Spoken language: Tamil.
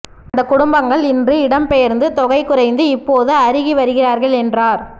அந்த குடும்பங்கள் இன்று இடம்பெயர்ந்து தொகை குறைந்து இப்போது அருகிவருகிறார்கள் என்றார்